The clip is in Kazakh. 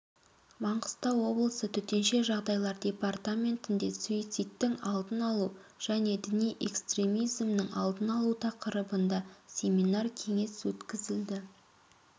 маңғыстау облысы төтенше жағдайлар департаментінде суицидтің алдын алу және діни экстремизмнің алдын алу тақырыбында семинар-кеңес өткізілді